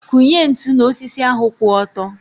Kụnye ntụ n'osisi ahu kwụ ọtọ.